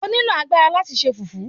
O nílò agbára láti se Fùfú.